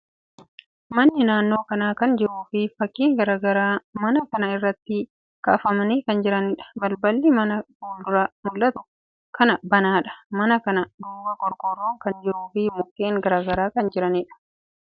Manni naannoo kana kan jiruu fi fakkiin garagaraa mana kana irratti kaafamanii kan jiraniidha. Balballi mana fuuldura mul'atu kanaa banaadha. Mana kana duuba qorqorron kan jiruu fi mukkeen garagaraa kan jiraniidha.